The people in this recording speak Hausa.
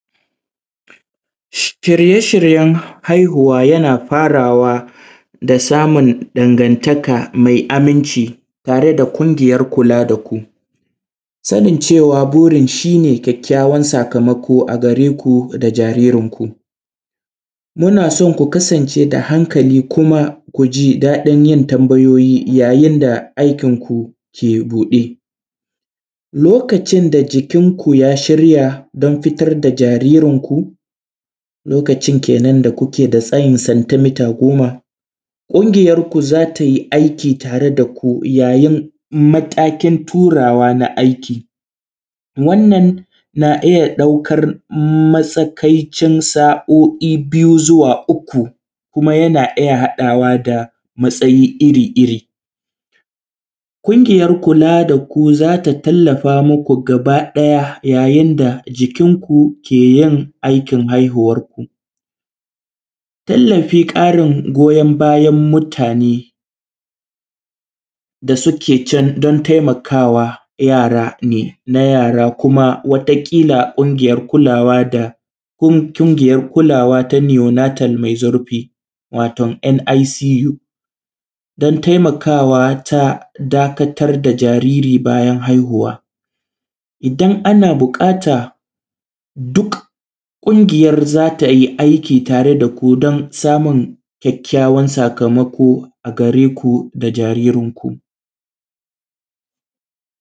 Shirye shiryen haihuwa yana faraway da samun dangantaka mai aminci tare da kungiyar kula daku, sanin cewa burin shine kyakkyawar sakamako a gareku da jaririn ku. Munason ku kasan ce hankali da kuma ji daɗin yin tambayoyi yayin da aikin ku ke buɗe, lokacin da jikin ku ya shirya dan fitar da jaririn ku lokaci ne da kuke da tsayi centimita goma ƙungiyar ku zatai aiki tare daku yayin matakin turawa na aiki, wannan na iyya ɗaukar matsakaitar sa’oi biyu zuwa uku kuma wani lokaci kuma yana iyya haɗawa da matsayi iri iri kungiyar kula daku, zata talllafa maku gaba ɗaya yayin da jikin ku keyin aikin haihuwar ku. Tallafi ƙarin goyon bayan mutane da suke can dan taimakawa yara ne, na yara kuma wata kila kungiyar kulawa da yara ƙungiyar kulawa ta yunated mai zurfi waton ‘n I c u’ dan taimakawa ta dakatar da jariri bayan haihuwa. Idan ana buƙata duk kungiyar zatai aiki tare da ku dan samun kyakkyawan sakamako a gareku da jaririn ku.